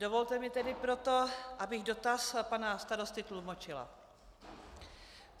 Dovolte mi tedy proto, abych dotaz pana starosty tlumočila.